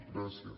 gràcies